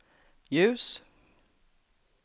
ljus